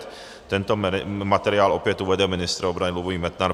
Tento materiál opět uvede ministr obrany Lubomír Metnar.